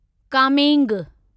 Kameng